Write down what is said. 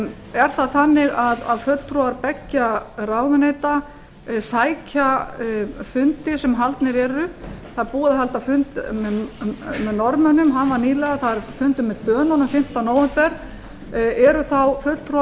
er það þannig að fulltrúar beggja ráðuneyta sækja fundi sem haldnir eru það er búið að halda fund með norðmönnum hann var nýlega það verður fundur með dönunum fimmta nóvember eru þá fulltrúa